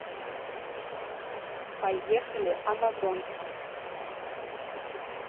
поехали амазонка